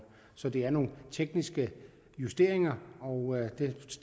så det er nogle tekniske justeringer og dem